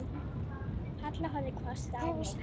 Halla horfði hvasst á mig.